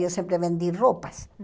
Eu sempre vendi roupas.